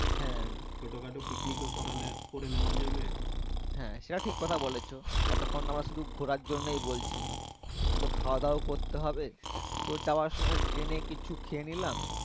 হ্যাঁ সেটা ঠিক কথা বলেছো এতক্ষন আমরা শুধু ঘুরার জন্যেই বলছি একটু তো খাওয়া দাওয়াও করতে হবে তো যাওয়ার সময় ট্রেনে কিছু খেয়ে নিলাম